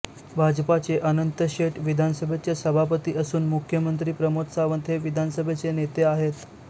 भाजपचे अनंत शेट विधानसभेचे सभापती असून मुख्यमंत्री प्रमोद सावंत हे विधानसभेचे नेते आहेत